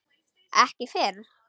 Ekki fyrr?